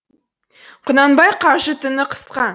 құнанбаи қажы түні қысқа